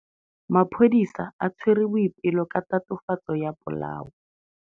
Maphodisa a tshwere Boipelo ka tatofatsô ya polaô.